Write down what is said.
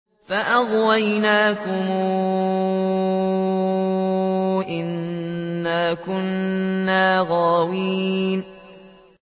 فَأَغْوَيْنَاكُمْ إِنَّا كُنَّا غَاوِينَ